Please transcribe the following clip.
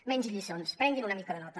menys lliçons prenguin una mica de nota